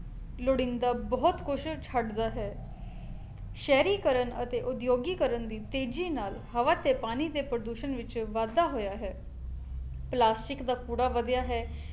ਲੋੜੀਂਦਾ ਬਹੁਤ ਕੁਛ ਛੱਡਦਾ ਹੈ ਸ਼ਹਿਰੀਕਰਨ ਅਤੇ ਉਦਯੋਗੀਕਰਨ ਦੀ ਤੇਜੀ ਨਾਲ ਹਵਾ ਤੇ ਪਾਣੀ ਦੇ ਪ੍ਰਦੂਸ਼ਣ ਵਿੱਚ ਵਾਧਾ ਹੋਇਆ ਹੈ ਪਲਾਸਟਿਕ ਦਾ ਕੂੜਾ ਵਧਿਆ ਹੈ